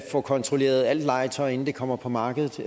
får kontrolleret alt legetøj inden det kommer på markedet